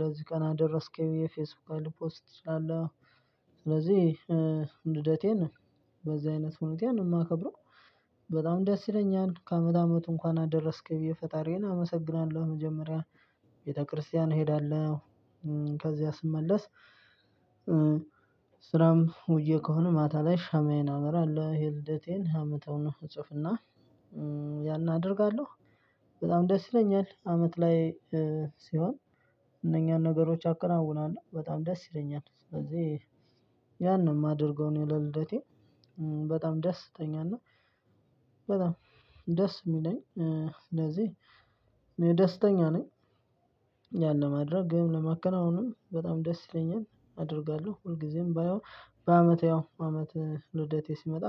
ለዚህ ቀናት ደረስኩኝ ፌስቡክ ላይ ልፖስት እችላለው። ስለዚህ ልደቴን በዚህ አይነት ሁኔታ ነው የማከብረው። በጣም ደስ ይለኛል ከአመት አመት እንኳን አደረስክ ብዬ ፈጣሪዬን አመሰግናለሁ። መጀመሪያ ቤተክርስቲያን እሄዳለሁ። ከዚያ ስመለስ ስራም ውዬ ከሆነ ማታ ላይ ሻማዬን አበራለሁ። ይሄ ልደቴን አመተውን እጽፍና ያን አደርጋለሁ። በጣም ደስ ይለኛል። አመት ላይ ሲሆን እነኛን ነገሮች አከናውናለሁ በጣም ደስ ይለኛል። ስለዚህ ያን ማደርገው እኔ ለልደቴ በጣም ደስተኛ እና በጣም ደስ የሚለኝ እንደዚህ ደስተኛ ነኝ። ያን ለማድረግ ግን ለማከናወንም በጣም ደስ ይለኛል። አደርጋለሁ ሁልጊዜም ባየው በአመት ያው አመት ልደቴ ሲመጣ